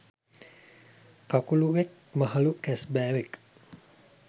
කකුළුවෙක් මහළු කැස්බෑවෙක්